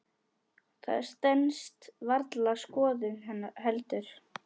Það stenst varla skoðun heldur.